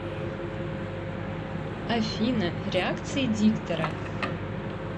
афина реакции диктора